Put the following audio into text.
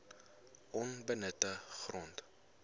onbenutte grond